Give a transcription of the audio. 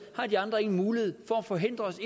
har de andre ingen mulighed for at forhindre os